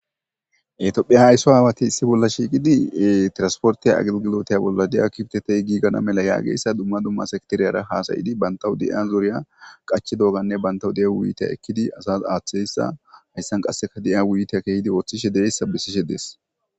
etophphe haysso aawati issi bolla shiiqidi tirasportiy agilgilotaya bolla de7a kifotetey giigana mela yaageyssa dumma dumma sakteriyara haasayidi bantawu de7iya zoriya qachi dooganne bantawu de7a wuite ekkidi asas aaththeeyssa hayssan qasseka de7ya wuite keehidi ooththishe deeyssa bissishe dees